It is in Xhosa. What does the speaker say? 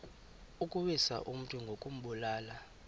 ukuwisa umntu ngokumbulala